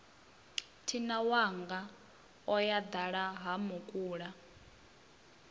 thinawanga o yo dala hamukula